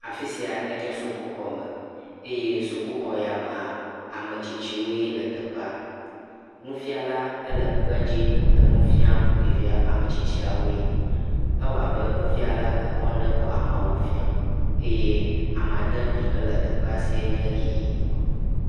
Afisia enye sukuxɔme eye sukuxɔyamea, ametsitsiwoe le teƒea. Nufiala ele kpedzi le nufiam ɖevia ametsitsiawoe, ewɔ abe nufiala ekɔ ŋɖe kɔ ameawo biam eye amadede yike le ekpea sie nye ɣii.